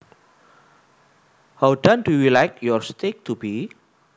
How done do you like your steak to be